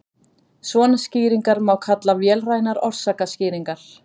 svona skýringar má kalla vélrænar orsakaskýringar